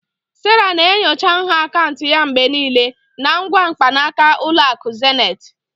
Sarah na-enyocha nha akaụntụ ya mgbe niile na ngwa mkpanaka Ụlọ akụ Zenith